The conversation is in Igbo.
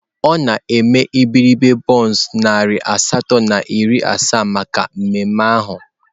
Ọ na-eme iberibe bọns narị asatọ na iri asaa maka mmemme ahụ.